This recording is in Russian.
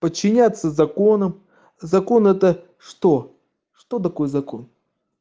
подчиняться законам законы это что что такое закон